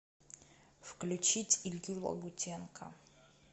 включить илью лагутенко